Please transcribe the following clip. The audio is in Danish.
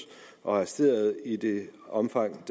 og arresterede i det omfang